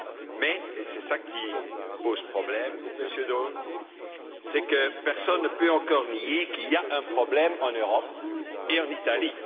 Mais, et c'est cela qui pose problème, Monsieur Daul, c'est que personne ne peut nier qu'il y a un problème en Europe et en Italie.